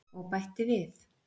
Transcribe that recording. Og bætti við: